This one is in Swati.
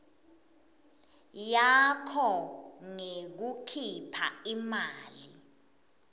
yakho ngekukhipha imali